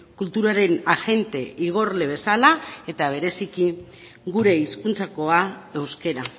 kulturaren agente igorle bezala eta bereziki gure hizkuntzakoa euskara